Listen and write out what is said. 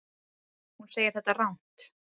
Hún segir þetta rangt.